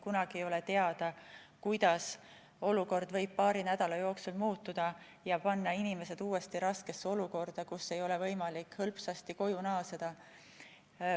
Kunagi ei ole teada, kuidas võivad asjad paari nädala jooksul muutuda ja panna inimesed uuesti raskesse olukorda, nii et neil ei ole võimalik hõlpsasti koju naasta.